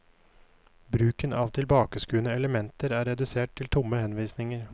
Bruken av tilbakeskuende elementer er redusert til tomme henvisninger.